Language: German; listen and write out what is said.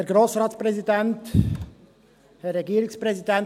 Der als Postulat überwiesene Vorstoss M 204-2017 «